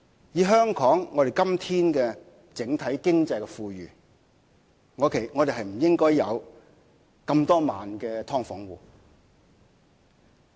以香港今天整體經濟富裕的狀況，我們不應該有這麼多萬的"劏房戶"。